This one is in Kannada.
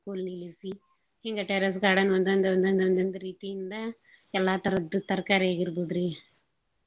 ಹಿಂಗ terrace garden ಒಂದೊಂದ ಒಂದೊಂದ ಒಂದೊಂದ ರೀತಿಯಿಂದ ಎಲ್ಲಾ ತರದ್ದು ತರ್ಕಾರಿ ಆಗಿರ್ಬೋದ್ರಿ.